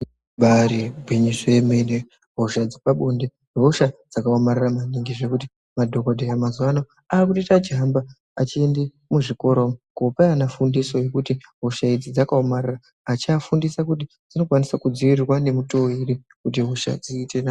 Ibairi gwinyiso yemene hosha dzepa bonde hosha dzaka omarara maningi zvekuti madhokodheya mazuva ano akutoita achi hamba achiende mu zvikoro kopa ana fundiso yekuti hosha idzi dzaka omarara achia fundisa kuti dzino kwanisa kudzivirirwa ne mutoo ere kuti hosha dziite nani.